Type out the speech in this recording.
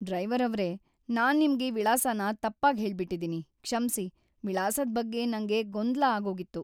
Driver ಅವ್ರೇ! ನಾನ್ ನಿಮ್ಗೆ ವಿಳಾಸನ ತಪ್ಪಾಗ್‌ ಹೇಳ್ಬಿಟಿದೀನಿ, ಕ್ಷಮ್ಸಿ. ವಿಳಾಸದ್ ಬಗ್ಗೆ ನಂಗೆ ಗೊಂದಲ ಆಗೋಗಿತ್ತು.